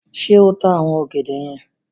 Ṣé ta àwọn ọ̀gẹ̀dẹ̀ yen?